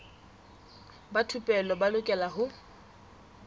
ba thupelo ba lokela ho